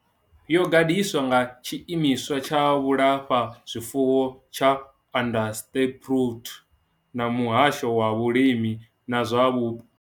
Yo gandiswa nga Tshiimiswa tsha Vhulafha zwifuwo tsha Onderstepoort na Muhasho wa Vhulimi na zwa Vhupo.